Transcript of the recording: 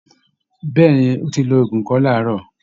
Bẹ́ẹ̀ ni, ó ti lo òògùn ikọ́ láàárọ̀